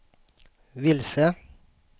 vilse